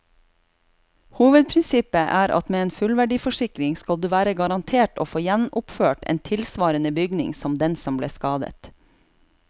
Hovedprinsippet er at med en fullverdiforsikring skal du være garantert å få gjenoppført en tilsvarende bygning som den som ble skadet.